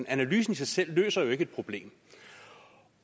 analysen i sig selv løser jo ikke et problem